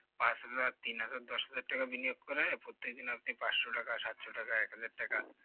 পাঁচ হাজারতিন হাজার দশ হাজার টাকা বিনিয়োগ করে প্রত্যেকদিন আপনি পাঁচশো টাকা সাতশো টাকা এক হাজারটাকা